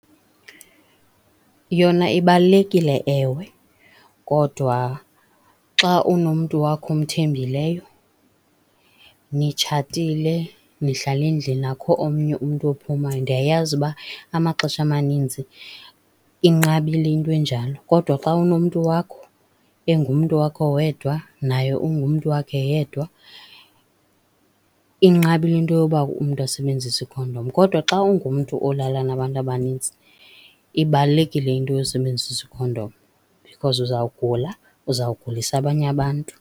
Yona ibalulekile ewe, kodwa xa unomntu wakho omthembileyo, nitshatile, nihlala endlini akukho omnye umntu ophumayo, ndiyayazi ukuba amaxesha amaninzi inqabile into enjalo. Kodwa xa unomntu wakho engumntu wakho wedwa, naye ungumntu wakhe yedwa, inqabile into yoba umntu asebenzise ikhondom. Kodwa xa ungumntu olala nabantu abanintsi, ibalulekile into yosebenzisa ikhondom because uzawugula, uzawugulisa abanye abantu.